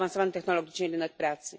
technologicznie rynek pracy.